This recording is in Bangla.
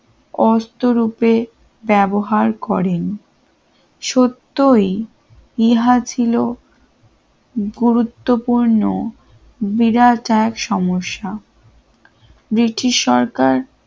অষ্ট রূপে ব্যবহার করেন সত্যই ইহা ছিল গুরুত্বপূর্ণ বিধাতার সমস্যা ব্রিটিশ সরকার